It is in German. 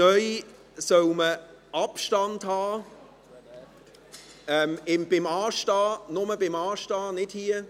Neu soll man Abstand halten – nur beim Anstehen, nicht hier.